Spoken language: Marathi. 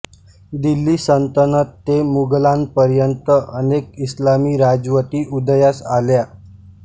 दिल्ली सल्तनत ते मुघलांपर्यंत अनेक इस्लामी राजवटी उदयास आल्या